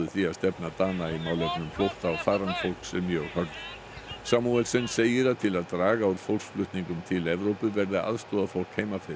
því að stefna Dana í málefnum flótta og farandfólks er mjög hörð segir að til að draga úr fólksflutningum til Evrópu verði að aðstoða fólk heima fyrir